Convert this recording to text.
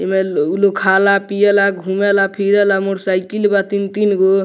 एमे लोग खाला पीएला घुमेला फिरैला मोटर साइकिल बा तीन-तीनगो।